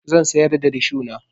Zan sayar da rishona.